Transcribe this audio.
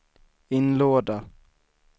inlåda